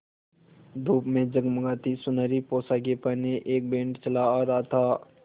धूप में जगमगाती सुनहरी पोशाकें पहने एक बैंड चला आ रहा था